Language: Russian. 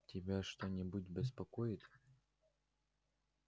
тебя что-нибудь беспокоит